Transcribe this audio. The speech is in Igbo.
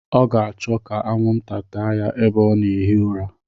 Ọ ga-achọ ka anwụnta taa ya ebe ọ na-ehi ụra.